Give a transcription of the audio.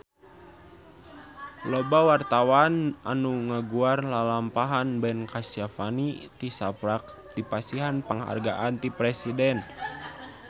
Loba wartawan anu ngaguar lalampahan Ben Kasyafani tisaprak dipasihan panghargaan ti Presiden